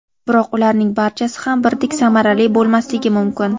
Biroq ularning barchasi ham birdek samarali bo‘lmasligi mumkin.